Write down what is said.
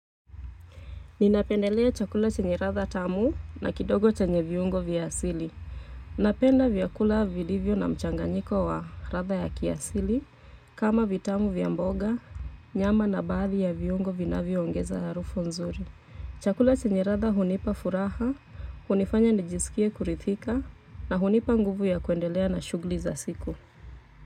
Ninapendelea chakula chenye ladha tamu na kidogo chenye viungo vya asili. Napenda vyakula vilivyo na mchanganyiko wa ladha ya kiasili kama vitamu vya mboga, nyama na baadhi ya viungo vinavyo ongeza harufu nzuri. Chakula chenye ladha hunipa furaha, hunifanya nijisikie kuridhika na hunipa nguvu ya kuendelea na shughuli za siku.